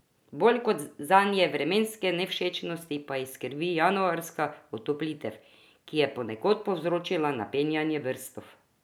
Bolj kot zadnje vremenske nevšečnosti pa jih skrbi januarska otoplitev, ki je ponekod povzročila napenjanje brstov.